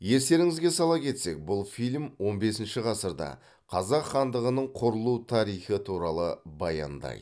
естеріңізге сала кетсек бұл фильм он бесінші ғасырда қазақ хандығының құрылу тарихы туралы баяндайды